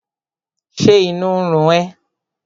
Ṣé inú ń run ẹ́?